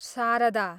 Sharada